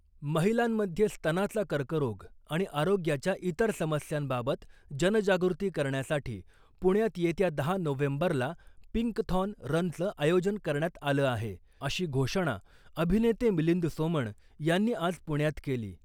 महिलांमध्ये स्तनाचा कर्करोग आणि आरोग्याच्या इतर समस्यांबाबत जनजागृती करण्यासाठी पुण्यात येत्या दहा नोव्हेंबरला पिंकथॉन रनचं आयोजन करण्यात आलं आहे , अशी घोषणा अभिनेते मिलिंद सोमण यांनी आज पुण्यात केली .